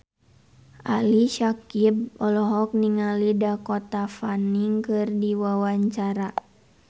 Ali Syakieb olohok ningali Dakota Fanning keur diwawancara